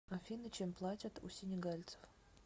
афина чем платят у сенегальцев